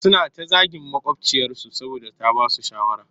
Suna ta zagin maƙwabciyarsu saboda ta ba su shawara